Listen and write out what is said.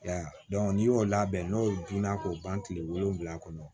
I y'a ye n'i y'o labɛn n'o dun na k'o ban kile wolonwula kɔnɔ